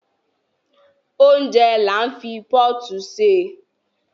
Óúnjẹ là ń fi pọ́ọ̀tù ṣè